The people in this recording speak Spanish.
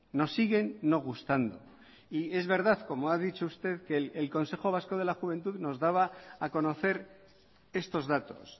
nos siguen no gustando y es verdad como ha dicho usted que el consejo vasco de la juventud nos daba a conocer estos datos